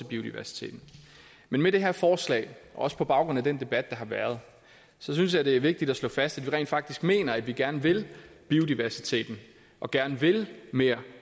biodiversiteten men med det her forslag og også på baggrund af den debat der har været synes jeg det er vigtigt at slå fast at vi rent faktisk mener at vi gerne vil biodiversiteten og gerne vil mere